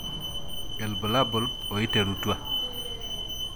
Ibulabul oiterutua.